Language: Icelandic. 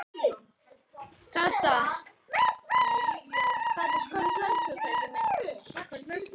Leki frá uppþvottavél